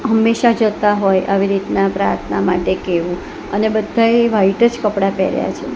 હંમેશા જતા હોય આવી રીતના પ્રાર્થના માટે કેવુ અને બધાએ વ્હાઇટ જ કપડા પહેર્યા છે.